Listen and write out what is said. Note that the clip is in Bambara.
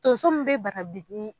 Tonso min bɛ bara bili.